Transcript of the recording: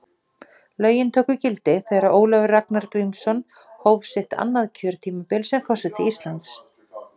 Lögin tóku gildi þegar Ólafur Ragnar Grímsson hóf sitt annað kjörtímabil sem forseti Íslands.